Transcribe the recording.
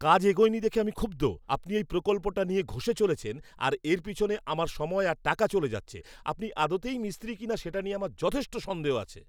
কাজ এগোয়নি দেখে আমি ক্ষুব্ধ। আপনি এই প্রকল্পটা নিয়ে ঘষে চলেছেন আর এর পিছনে আমার সময় আর টাকা চলে যাচ্ছে, আপনি আদতেই মিস্ত্রি কিনা সেটা নিয়ে আমার যথেষ্ট সন্দেহ আছে!